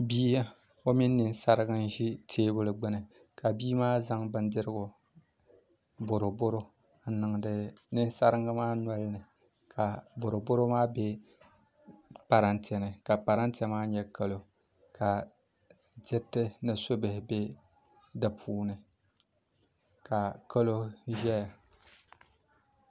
Bia mini ninsaringi n ʒi teebuli gbuni ka bia maa zaŋ boroboro n niŋdi ninsaringi maa nolini ka boroboro maa bɛ parantɛ ni ka parantɛ maa nyɛ kɛlo ka diriti ni subihi bɛ di puuni ka kɛlo ʒɛya